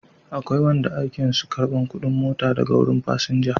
Akwai wanda aikin su karban kudin mota daga wurin fasinja